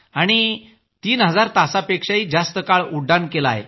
आणि तीन हजार तासांपेक्षाही जास्त काळ उड्डाण केलं आहे